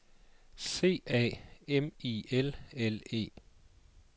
C A M I L L E